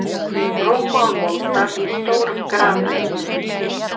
Rúmmál moldar í stórum grafreit.